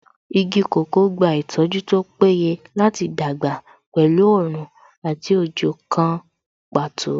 Igi kòkó gba ìtọ́jú tó péye láti dàgbà pẹ̀lú oòrùn àti òjò kan pàtó